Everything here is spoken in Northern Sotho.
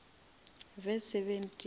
verse seventeen